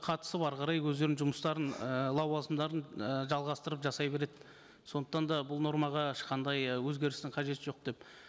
қатысып әрі қарай өздерінің жұмыстарын ы лауазымдарын ы жалғастырып жасай береді сондықтан да бұл нормаға ешқандай өзгерістің қажеті жоқ деп